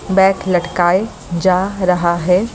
Bag लटकाए जा रहा है।